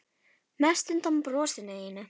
Mest undan brosinu þínu.